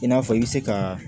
I n'a fɔ i bɛ se ka